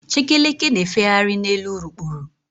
Chekeleke na-efegharị n'elu urukpuru.